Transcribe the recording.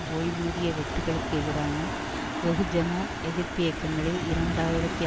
ஓய்வூதிய வெட்டுக்களுக்கு எதிரான வெகுஜன எதிர்ப்பியக்கங்களில் இரண்டு ஆயிரத்தி